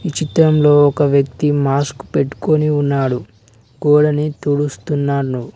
ఈ చిత్రంలో ఒక వ్యక్తి మాస్క్ పెట్టుకొని ఉన్నాడు గోడని తుడుస్తున్నాను